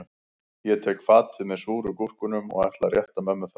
Ég tek fatið með súru gúrkunum og ætla að rétta mömmu það